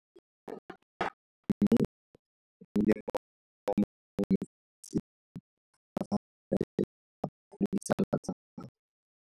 Moeng wa dikgwebo potlana o gorogile maabane kwa kopanong ya dikgwebo.